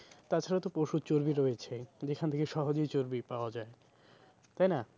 তাছাড়া তো পশুর চর্বি রয়েছেই যেখান থেকে সহজেই চর্বি পাওয়া যায় তাই না?